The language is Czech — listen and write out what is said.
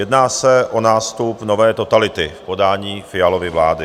Jedná se o nástup nové totality v podání Fialovy vlády.